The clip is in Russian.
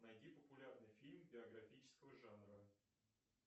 найди популярный фильм биографического жанра